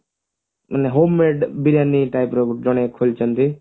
homemade biryani type ର ଜଣେ ଖୋଲିଛନ୍ତି